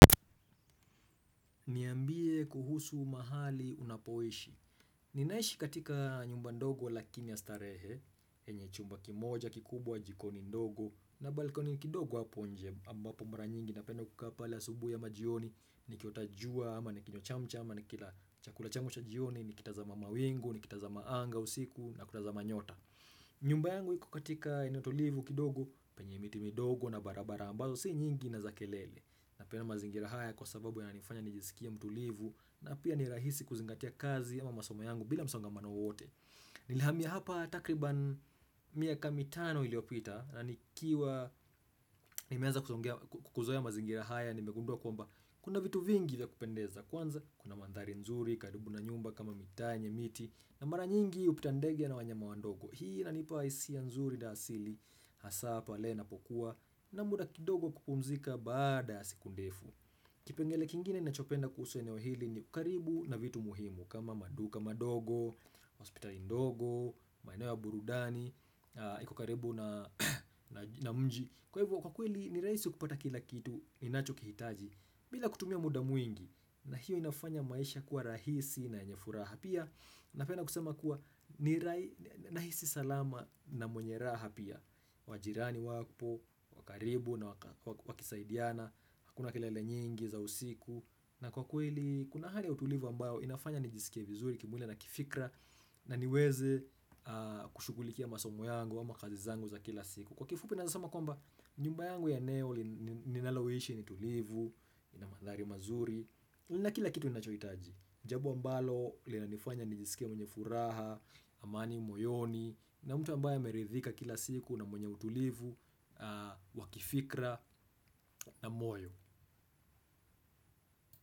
Niambie kuhusu mahali unapoishi. Ninaishi katika nyumba ndogo lakini ya starehe yenye chumba kimoja kikubwa, jikoni ndogo na balkoni kidogo hapo nje ambapo mara nyingi napenda kukaa pale asubuhi ama jioni nikiota jua ama nikinywa chamcha ama nikila chakula changu cha jioni nikitazama mawingu, nikitazama anga usiku na kutazama nyota. Nyumba yangu hiko katika eneo tulivu kidogo penye miti midogo na barabara ambazo si nyingi na za kelele. Napenda mazingira haya kwa sababu yananifanya nijisikie mtulivu na pia ni rahisi kuzingatia kazi ama masoma yangu bila msongamano wowote Nilihamia hapa takriban miaka mitano iliyopita na nikiwa Nimeanza kuzoea mazingira haya nimegundua kwamba kuna vitu vingi vya kupendeza kwanza kuna mandhari nzuri karibu na nyumba kama mitaa yenye miti. Na mara nyingi hupita ndege na wanyama wandogo. Hii inanipa hisia nzuri na asili hasa pale inapokuwa na muda kidogo kupumzika baada ya siku ndefu Kipengele kingine ninachopenda kuhusu eneo hili ni ukaribu na vitu muhimu. Kama maduka madogo, hospitali ndogo, maeneo ya burudani iko karibu na mji. Kwa hivyo kwa kweli ni raisi kupata kila kitu ninachokihitaji bila kutumia muda mwingi. Na hiyo inafanya maisha kuwa rahisi na yenye furaha, pia napenda kusema kuwa nahisi salama na mwenye raha pia majirani wapo, wa karibu na wakisaidiana, hakuna kelele nyingi za usiku, na kwa kweli kuna hali ya utulivu ambayo inafanya nijisikie vizuri kimwili na kifikra na niweze kushughulikia masomo yangu ama kazi zangu za kila siku. Kwa kifupi naeza sema kwamba nyumba yangu ya eneo ni ninaloishi ni tulivu, ina mandhari mazuri, lina kila kitu ninachohitaji. Ni jambo ambalo linanifanya nijisikie mwenye furaha, amani moyoni na mtu ambaye ameridhika kila siku na mwenye utulivu, wa kifikra na moyo.